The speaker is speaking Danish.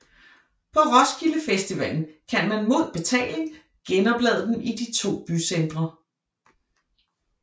På Roskilde Festivalen kan man mod betaling genoplade dem i de to bycentre